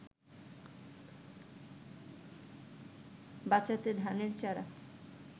বাঁচাতে ধানের চারা